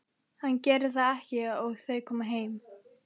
En hann gerir það ekki og þau koma heim.